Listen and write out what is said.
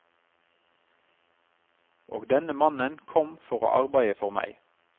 Og denne mannen kom for å arbeide for meg.